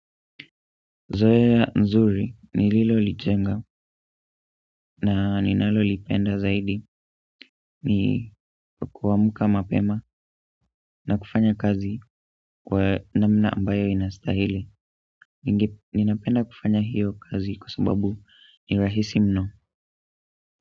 Zoea nzuri ni lilo lichenga na ninalo lipenda zaidi ni kuamuka mapema na kufanya kazi kwa namna ambayo inastahili. Ninapenda kufanya hiyo kazi kwa sababu ni rahisi mno.